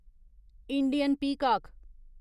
Indian पीकाक